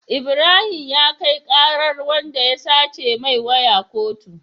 Ibrahim ya kai karar wanda ya sace mai waya kotu